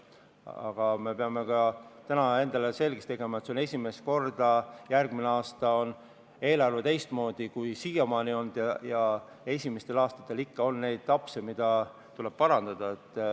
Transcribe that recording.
Aga me peame ka täna endale selgeks tegema, et järgmisel aastal on eelarve esimest korda teistmoodi, kui see siiamaani on olnud, ja esimestel aastatel on ikka neid apse, mida tuleb parandada.